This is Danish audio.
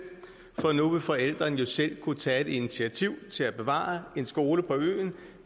for nu vil forældrene jo selv kunne tage et initiativ til at bevare en skole på øen